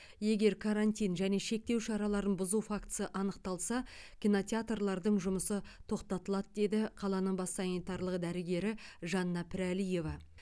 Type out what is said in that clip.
егер карантин және шектеу шараларын бұзу фактісі анықталса кинотеатрлардың жұмысы тоқтатылады деді қаланың бас санитарлық дәрігері жанна пірәлиева